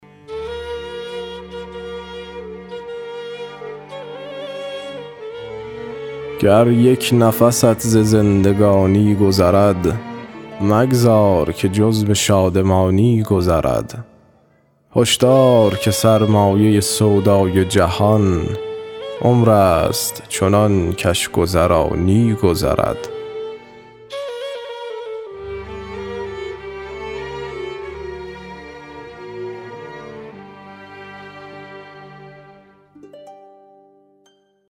گر یک نفست ز زندگانی گذرد مگذار که جز به شادمانی گذرد هشدار که سرمایه سودای جهان عمر است چنان کش گذرانی گذرد